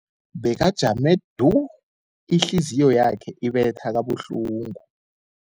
Bekajame du, ihliziyo yakhe ibetha kabuhlungu.